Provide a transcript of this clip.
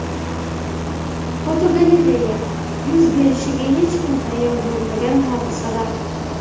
Fotogalereya: Yuz berishiga hech kim tayyor bo‘lmagan hodisalar.